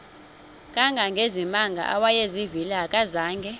kangangezimanga awayezivile akazanga